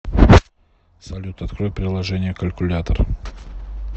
салют открой приложение калькулятор